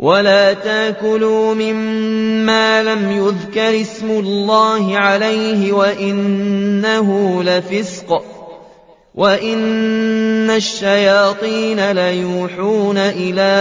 وَلَا تَأْكُلُوا مِمَّا لَمْ يُذْكَرِ اسْمُ اللَّهِ عَلَيْهِ وَإِنَّهُ لَفِسْقٌ ۗ وَإِنَّ الشَّيَاطِينَ لَيُوحُونَ إِلَىٰ